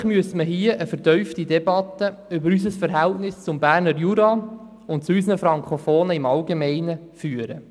Eigentlich müssten wir eine vertiefte Debatte über unser Verhältnis zum Berner Jura und zu unseren Frankofonen im Allgemeinen führen.